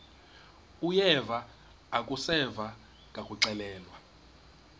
uyeva akuseva ngakuxelelwa